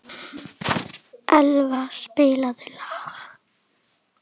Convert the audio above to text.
Elva, spilaðu lag.